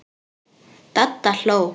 Dadda hló.